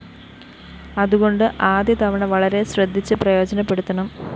അതുകൊണ്ട് ആദ്യതവണ വളരെ ശ്രദ്ധിച്ച് പ്രയോജനപ്പെടുത്തണം